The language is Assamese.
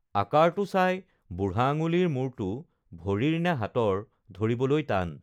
আকাৰটো চাই বুঢ়া আঙুলিৰ মূৰটো ভৰিৰ নে হাতৰ ধৰিবলৈ টান